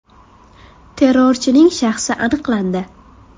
Terrorchining shaxsi aniqlandi.